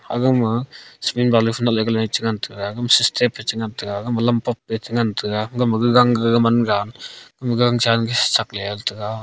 aga ma cement balu phai natle gale che ngan tega gama sistep pe che ngan tega gama lam paap pe che ngan tega gama gagang gaga man gan sakle tega.